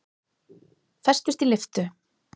Festust í lyftu